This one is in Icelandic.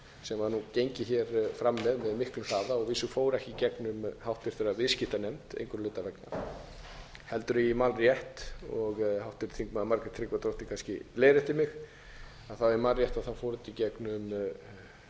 sem var nú gengið fram með með miklum hraða og að vísu fór ekki í gegnum háttvirtur viðskiptanefnd einhverra hluta vegna heldur ef ég man rétt og háttvirtur þingmaður margrét tryggvadóttir kannski leiðréttir mig ef ég man rétt fór þetta